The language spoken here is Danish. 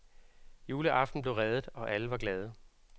Juleaften blev reddet og alle var glade.